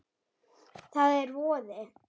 Það er voði